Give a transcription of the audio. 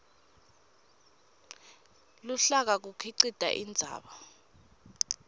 luhlaka kukhicite indzaba